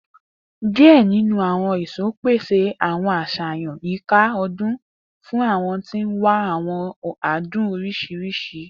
Die ninu awọn eso pese awọn aṣayan yika ọdun fun awọn ti n wa awọn adun oriṣiriṣi